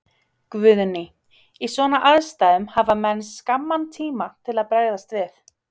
Guðný: Í svona aðstæðum, hafa menn skamman tíma til að bregðast við?